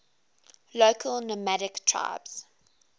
local nomadic tribes